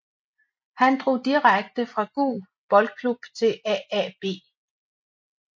Han drog direkte fra Gug Boldklub til AaB